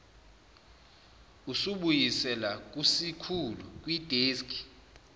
usibuyisela kusikhulu kwideski